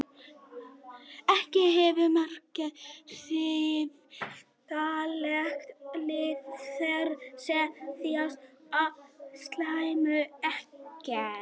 Exem hefur marktæk áhrif á daglegt líf þeirra sem þjást af slæmu exemi.